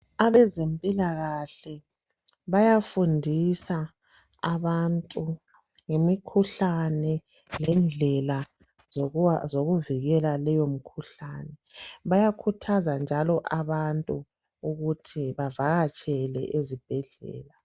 Abezempilakahle bayafundisa abantu ngemikhuhlane lendlela zokuvikela leyo mkhuhlane. Bayakhuthaza njalo abantu ukuthi bavakatshele ezibhedlela.